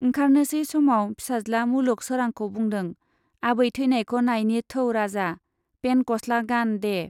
ओंखारनोसै समाव फिसाज्ला मुलुग सोरांखौ बुंदों, आबै ठैनायखौ नायनि थौ राजा, पेन्ट गस्ला गान दे।